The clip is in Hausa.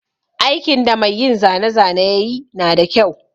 Aikin da mai yin zane zane yayi nada kyau.